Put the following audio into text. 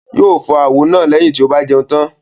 Yóo fọ àwo náà lẹ́yìn tí o bà jẹun tàn